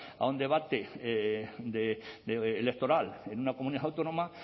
a un debate electoral en una comunidad autónoma